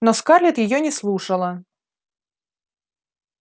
но скарлетт её не слушала